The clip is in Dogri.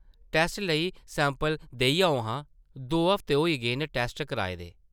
टैस्ट लेई सैंपल देई आओ हां, दो हफ्ते होई गे न टैस्ट कराए दे ।